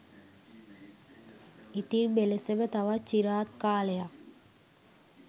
ඉතින් මෙලෙසම තවත් චිරාත් කාලයක්